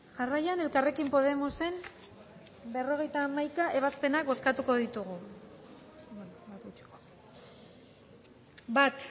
jarraian elkarrekin podemosen berrogeita hamaika ebazpena bozkatuko ditugu bat